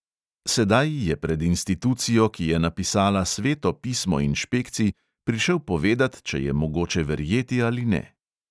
Sedaj je pred institucijo, ki je napisala sveto pismo inšpekcij, prišel povedat, če je mogoče verjeti ali ne.